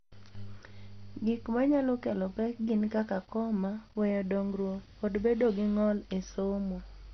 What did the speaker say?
Gik ma nyalo kelo pek gin kaka koma, weyo dongruok, kod bedo gi ng’ol e somo.